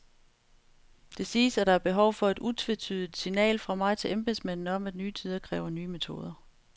Det siges, at der er behov for et utvetydigt signal fra mig til embedsmændene om, at nye tider kræver nye metoder.